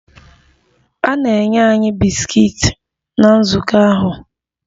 A na-enye anyị bisikiiti na nzukọ ahụ.